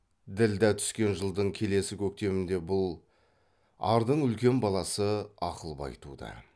ділдә түскен жылдың келесі көктемінде бұл ардың үлкен баласы ақылбай туды